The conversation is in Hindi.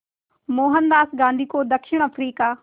मोहनदास गांधी को दक्षिण अफ्रीका